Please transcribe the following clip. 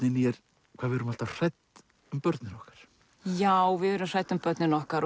inn í er hvað við erum alltaf hrædd um börnin okkar já við erum hrædd um börnin okkar